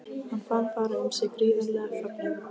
Hann fann fara um sig gríðarlegan fögnuð.